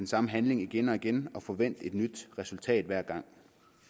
samme handling igen og igen og forvente et nyt resultat hver gang